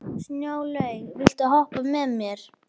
Snjólaug, viltu hoppa með mér?